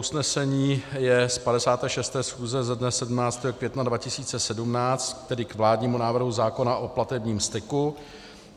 Usnesení je z 56. schůze ze dne 17. května 2017, tedy k vládnímu návrhu zákona o platebním styku.